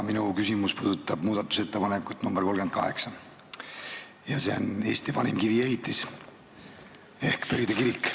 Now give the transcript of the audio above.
Minu küsimus puudutab muudatusettepanekut nr 38 ja see on Eesti vanima kiviehitise ehk Pöide kiriku kohta.